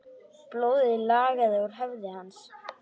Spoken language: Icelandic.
Blóðið lagaði úr höfði hans.